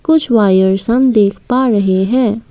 कुछ वायर्स हम दिख पा रहे हैं।